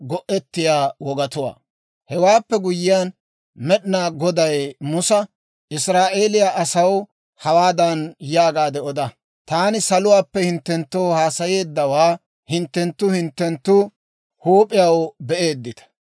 Hewaappe guyyiyaan, Med'inaa Goday Musa, «Israa'eeliyaa asaw hawaadan yaagaadde oda; ‹Taani saluwaappe hinttenttoo haasayeeddawaa hinttenttu hinttenttu huup'iyaw be'eeddita.